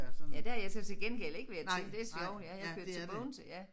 Ja det har jeg så til gengæld ikke været til det sjovt ja jeg kørt til Bogense ja